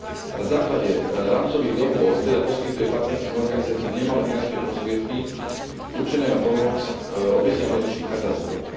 Na základe rámcových dohôd teda poskytuje partnerským organizáciám nemalé finančné prostriedky určené na pomoc obetiam rozličných katastrof.